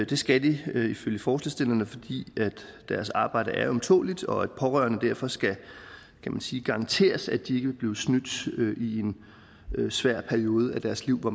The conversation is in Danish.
det skal de ifølge forslagsstillerne fordi deres arbejde er ømtåleligt og pårørende derfor skal garanteres at de ikke blive snydt i en svær periode af deres liv hvor